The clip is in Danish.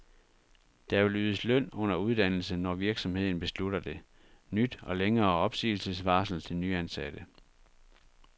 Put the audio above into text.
Der vil ydes løn under uddannelse, når virksomheden beslutter det. Nyt og længere opsigelsesvarsel til nyansatte.